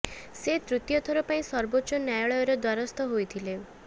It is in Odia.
ସେ ତୃତୀୟ ଥର ପାଇଁ ସର୍ବୋଚ୍ଚ ନ୍ୟାୟାଳୟର ଦ୍ୱାରସ୍ଥ ହୋଇଥିଲେ